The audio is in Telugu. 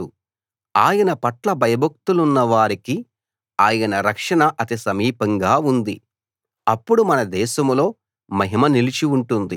ఆయన పట్ల భయభక్తులున్న వారికి ఆయన రక్షణ అతి సమీపంగా ఉంది అప్పుడు మన దేశంలో మహిమ నిలిచి ఉంటుంది